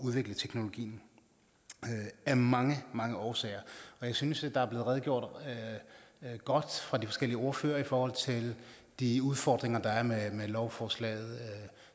udvikle teknologien af mange mange årsager jeg synes at der er blevet redegjort godt fra de forskellige ordførere for de udfordringer der er med lovforslaget